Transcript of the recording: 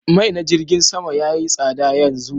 Mai na jirgin Sama yayi tsada yanzu